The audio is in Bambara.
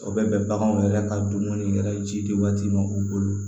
O bɛ bɛn baganw yɛrɛ ka dumuni yɛrɛ ji waati ma u bolo